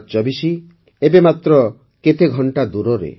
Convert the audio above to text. ୨୦୨୪ ଏବେ ମାତ୍ର କେତେ ଘଣ୍ଟା ଦୂରରେ